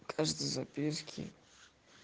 в каждой записки